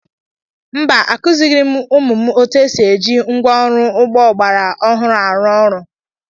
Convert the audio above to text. Mba, Akụzighị m ụmụ m otú e si eji ngwá ọrụ ugbo ọgbara ọhụrụ arụ ọrụ.